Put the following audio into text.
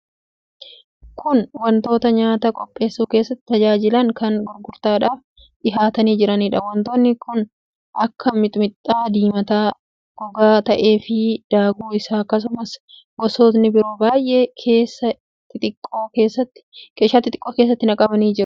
Kun wantoota nyaata qopheessuu keessatti tajaajilan kan gurgurtaadhaaf dhihaatanii jiraniidha. Wantoota kanneen akka miximixa diimataa goggogaa ta'eefi daakuu isaa, akkasumas gosootni biroo baay'ee keeshaa xixiqqoo keessatti naqamanii gurgurtaaf kaa'amanii jiru.